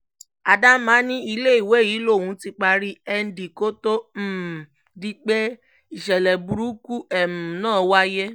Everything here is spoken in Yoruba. adama ní iléèwé yìí lòún ti parí nd kó tóó um di pé ìṣẹ̀lẹ̀ burúkú um náà wáyé